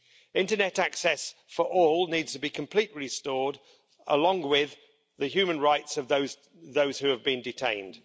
Internet access for all needs to be completely restored, along with the human rights of those who have been detained.